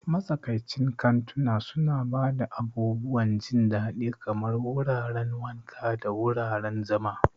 Matsakaicin kantuna suna ba da abubuwan jin daɗi kamar wuraren wanka da wuraren zama.